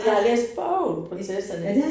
Men jeg har læst bogen Prinsesserne